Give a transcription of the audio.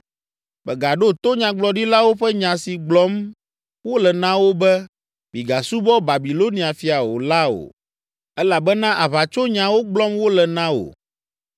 Mègaɖo to nyagblɔɖilawo ƒe nya si gblɔm wole na wò be, ‘Mígasubɔ Babilonia fia o’ la o; elabena aʋatsonyawo gblɔm wole na wò.